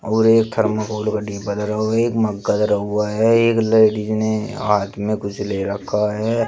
और एक थर्माकोल का डिब्बा धरा हुआ है एक मग्गा धरा हुआ है एक लेडिस ने हाथ में कुछ ले रखा है।